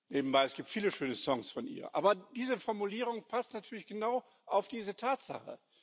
Nebenbei Es gibt viele schöne Songs von ihr, aber diese Formulierung passt natürlich genau auf diese Tatsache.